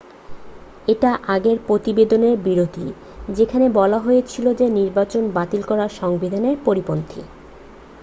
এটা আগের প্রতিবেদনের বিরোধী যেখানে বলা হয়েছিল যে নির্বাচন বাতিল করা সংবিধানের পরিপন্থী